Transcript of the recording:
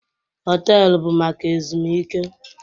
Họtelu bụ maka ezumike